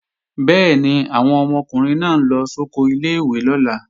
Bẹ́ẹ̀ni, àwọn ọmọkùnrin náà ń lọ sóko ilé-ìwé lọ́la